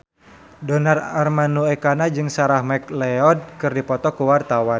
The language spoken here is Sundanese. Donar Armando Ekana jeung Sarah McLeod keur dipoto ku wartawan